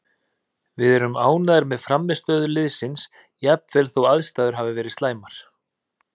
Við erum ánægðir með frammistöðu liðsins jafnvel þó aðstæðurnar hafi verið slæmar,